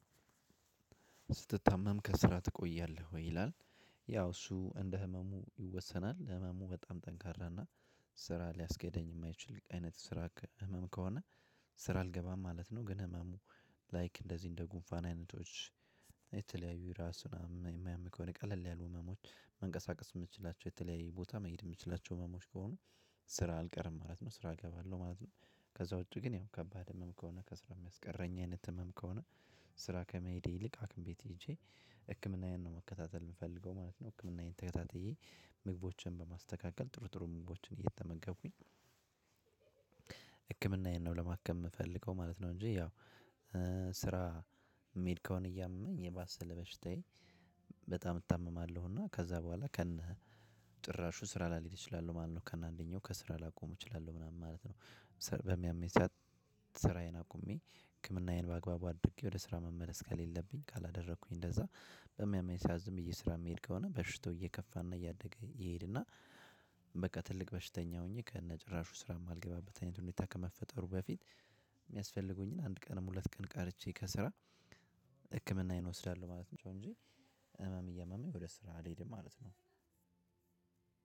ስትታመም ከስራ ትቆያለህ ወይ ይላል? ያው እሱ እንደ ህመሙ ይወሰናል ህመሙ በጣም ጠንካራ እና ስራ ሊያስገደኝ የማይችል አይነት ስራ ህመም ከሆነ ስራ አልገባም ማለት ነው። ግን ህመሙ ላይክ እንደዚህ እንደ ጉንፋን አይነቶች የተለያዩ ራስ ምናምን የሚያም ከሆነ የቀለል ያሉ ህመሞች መንቀሳቀስ የምትችላቸው የተለያየ ቦታ መሄድ የምትችላቸው ህመሞች ከሆኑ ስራ አልቀርም ማለት ነው ስራ እገባለሁ ማለት ነው። ከዛ ውጪ ግን ያው ከባድ ህመም ከሆነ ከስራ የሚያስቀረኝ አይነት ህመም ከሆነ ስራ ከመሄዴ ይልቅ ሃክም ቤት ሄጄ ህክምናዬን ነው መከታተል የምፈልገው ማለት ነው። ህክምናዬን ተከታትዬ ምግቦችን በማስተካከል ጥሩ ጥሩ ምግቦችን እየተመገብኩኝ ህክምና ይሄን ነው ለማከም የምፈልገው ማለት ነው። እንጂ ያው ስራ የምሄድ ከሆነ እያመመኝ የባሰ ለበሽታዬ በጣም እታመማለሁ እና ከዛ በኋላ ከነ ጭራሹ ስራ ላልሄድ እችላለሁ ማለት ነው ከነ አንደኛው ከስራ ላቆም እችላለሁ ምናምን ማለት ነው። በሚያመኝ ሰዓት ስራዬን አቁሜ ህክምናዬን በአግባቡ አድርጌ ወደ ስራ መመለስ ከሌለብኝ ካላደረኩኝ እንደዛ በሚያመኝ ሰዓት ዝም ብዬ ስራ የምሄድ ከሆነ በሽቶ እየከፋ እና እያደገ ይሄድና። ትልቅ በሽተኛ ሆኜ ከነ ጭራሹ ስራ የማልገባበት አይነት ሁኔታ ከመፈጠሩ በፊት የሚያስፈልጉኝን አንድ ቀንም ሁለት ቀን ቀርቼ ከስራ ህክምናዬን እወስዳለሁ ማለት ነው። እንጂ ህመም እያመመኝ ወደ ስራ አልሄድም ማለት ነው።